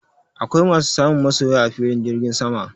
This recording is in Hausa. Akwai masu samun masoya a filin jirgin sama